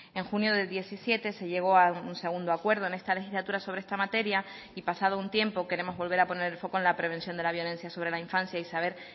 en junio del diecisiete se llegó a un segundo acuerdo en esta legislatura sobre esta materia y pasado un tiempo queremos volver a poner el foco en la prevención de la violencia sobre la infancia y saber